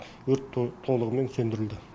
өрт толығымен сөндірілді